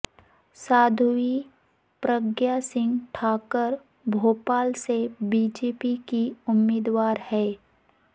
سادھوی پرگیا سنگھ ٹھاکر بھوپال سے B J P کی امیدوار ہیں